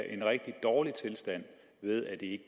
en rigtig dårlig tilstand ved at de ikke